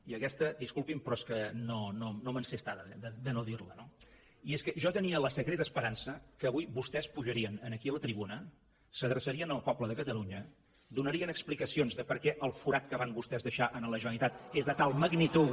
i aquesta disculpin però és que no me’n sé estar de no dir la no i és que jo tenia la secreta esperança que avui vostès pujarien aquí a la tribuna s’adreçarien al poble de catalunya donarien explicacions de per què el forat que van vostès deixar en la generalitat és de tal magnitud